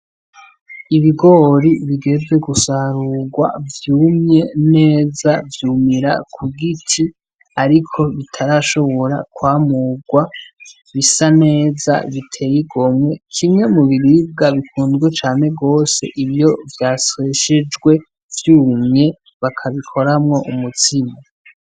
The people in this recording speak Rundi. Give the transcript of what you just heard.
Ibigori bigeze gusarurwa vyumye neza vyumira kugiti ariko bitarashobora kwamurwa bisa neza bitey' igomwe kimwe mubiribwa bikunzwe cane gose iyo vyasyeshejwe vyumye bakabikoramwo umutsima .